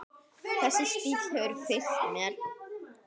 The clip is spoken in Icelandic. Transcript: Þessi stíll hefur fylgt mér.